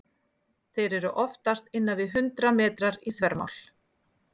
Þeir eru oftast innan við hundrað metrar í þvermál.